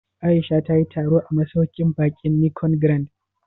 Aisha ta yi taro a masauƙin baƙin Nicon Grand?